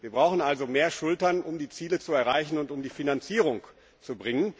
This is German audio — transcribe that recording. Wir brauchen also mehr Schultern, um die Ziele zu erreichen und um die Finanzierung zu gewährleisten.